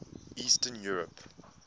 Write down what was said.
eastern europe